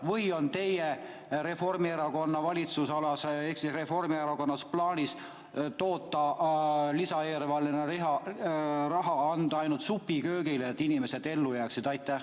Või on teie, Reformierakonna valitsusalas ehk Reformierakonnas plaanis lisaeelarve raha anda ainult supiköögile, et inimesed ellu jääksid?